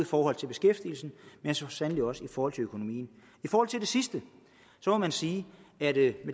forhold til beskæftigelsen men så sandelig også i forhold til økonomien i forhold til det sidste må man sige at